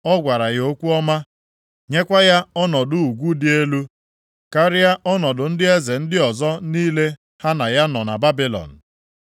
Ọ gwara ya okwu ọma, nyekwa ya ọnọdụ ugwu dị elu karịa ọnọdụ ndị eze ndị ọzọ niile ha na ya nọ na Babilọn.